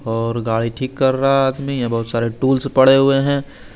और गाड़ी ठीक कर रहा आदमी ये बहुत सारे टूल्स पड़े हुए हैं।